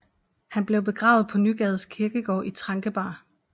Han blev begravet på Nygades Kirkegård i Trankebar